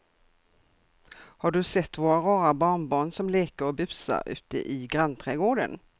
Har du sett våra rara barnbarn som leker och busar ute i grannträdgården!